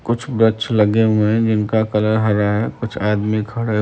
कुछ बैछ लगे हुए हैं जिनका कलर हरा है कुछ आदमी खड़े --